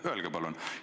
Öelge palun!